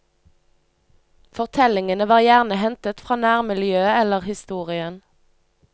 Fortellingene var gjerne hentet fra nærmiljøet eller historien.